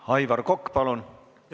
Aivar Kokk, palun!